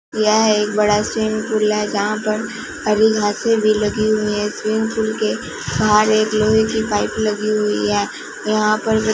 यह एक बड़ा स्विमिंग पूल है जहां पर हरी घासें भी लगी हुई हैं स्विमिंग पूल के बाहर एक लोहे की पाइप लगी हुई है यहां पर--